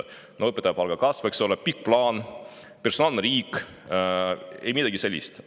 Õpetajate palga kasv, eks ole, pikk plaan, personaalne riik – ei midagi sellist!